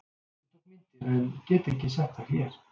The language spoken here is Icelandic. Ég tók myndir en get ekki sett þær hér.